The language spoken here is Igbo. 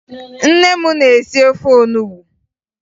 Nne m na-esi ofe onubo